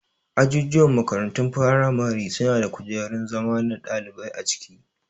Ajujuwan makarantun firamare suna da kujerun zama na ɗalibai a ciki